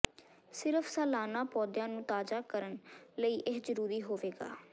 ਸਿਰਫ ਸਾਲਾਨਾ ਪੌਦਿਆਂ ਨੂੰ ਤਾਜ਼ਾ ਕਰਨ ਲਈ ਇਹ ਜ਼ਰੂਰੀ ਹੋਵੇਗਾ